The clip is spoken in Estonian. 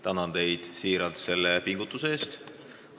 Tänan teid selle pingutuse eest!